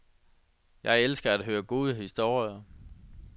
Jeg elsker at høre gode historier.